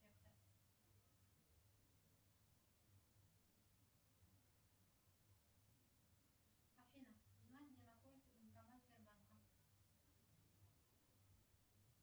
афина узнай где находится банкомат сбербанка